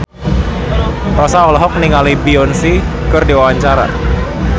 Rossa olohok ningali Beyonce keur diwawancara